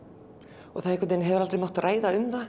það hefur aldrei mátt ræða um það